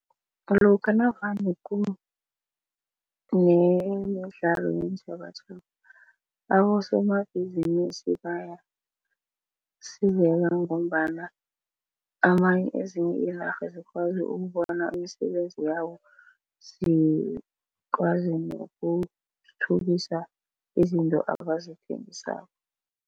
Lokha navane kunemidlalo yeentjhabatjhaba abosomabhizinisi bayasizeka ngombana ezinye iinarha zikwazi ukubona imisebenzi yabo, zikwazi nokuthuthukisa izinto abazithengisako.